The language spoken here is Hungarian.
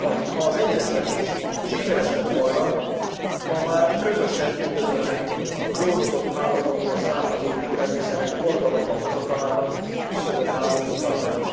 Ha az egyeztetés sikeres lett volna, ma már közösen üdvözölhetnénk a klónozott állatokból származó élelmiszerek forgalomba hozatalának küszöbön álló tilalmát.